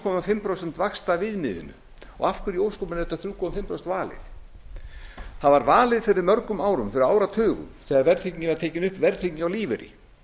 og hálft prósent vaxtaviðmiðinu og af hverju í ósköpunum er þetta þriggja og hálft prósent valið það var valið fyrir mörgum árum áratugum þegar verðtrygging var tekin upp verðtrygging á lífeyri